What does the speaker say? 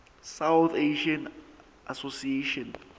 south asian association